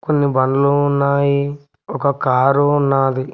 కొన్ని బండ్లు ఉన్నాయి ఒక కారు ఉన్నాది.